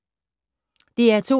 DR2